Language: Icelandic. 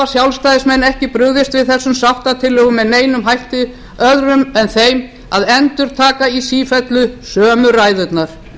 sjálfstæðismenn ekki brugðist við þessum sáttatillögum með neinum hætti öðrum en þeim að endurtaka í sífellu sömu ræðurnar